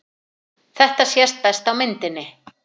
Þetta sést best á myndinni.